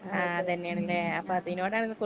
അതെ ഉം ആ.